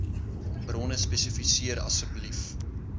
bronne spesifiseer asseblief